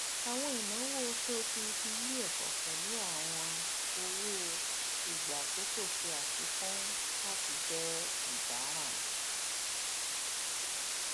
àwọn ináwó oṣooṣù ti iléèkọ pẹlú àwọn owó ìgbààkókò ṣe àfikún láti jẹ ìdàrán